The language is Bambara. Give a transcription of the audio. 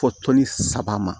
Fo tɔnni saba ma